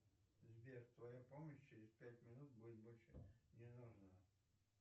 сбер твоя помощь через пять минут будет больше не нужна